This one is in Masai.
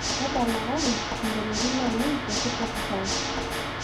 tadalakaki isingolioni lainei te spotify